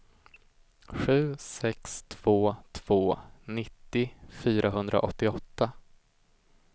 sju sex två två nittio fyrahundraåttioåtta